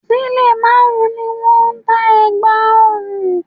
Sílè márùn-ún ni wọ́n ń ta ẹ̀gbà ọrùn